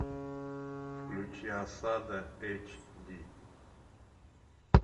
включи осада эйч ди